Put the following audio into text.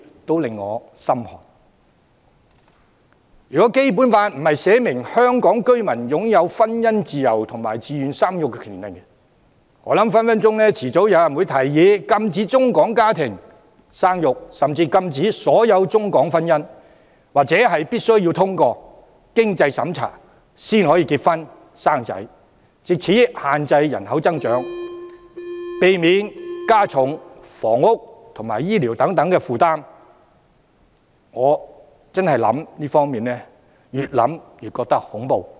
若非《基本法》訂明香港居民享有婚姻自由和自願生育的權利，我相信早晚有人會提議禁止中港家庭生育，甚至禁止所有中港婚姻，或必須通過經濟審查方能結婚生子，藉此限制人口增長，避免加重房屋及醫療等負擔，讓人越想便越覺得恐怖。